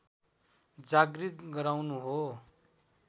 जागृत गराउनु हो